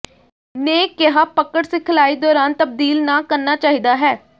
ਨੇ ਕਿਹਾ ਪਕੜ ਸਿਖਲਾਈ ਦੌਰਾਨ ਤਬਦੀਲ ਨਾ ਕਰਨਾ ਚਾਹੀਦਾ ਹੈ